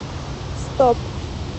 стоп